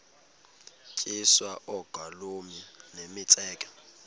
tyiswa oogolomi nemitseke